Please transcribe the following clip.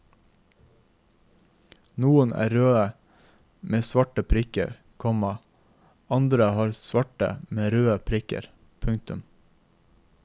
Noen er røde med svarte prikker, komma andre er svarte med røde prikker. punktum